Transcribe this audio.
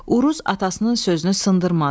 Uruz atasının sözünü sındırmadı.